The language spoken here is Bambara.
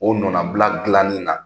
O nanabila dilanin na.